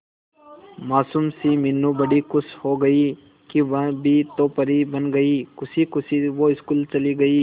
मासूम सी मीनू बड़ी खुश हो गई कि वह भी तो परी बन गई है खुशी खुशी वो स्कूल चली गई